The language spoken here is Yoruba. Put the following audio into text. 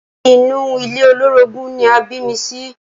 Inú ilé olórogún ni a bí mi sí.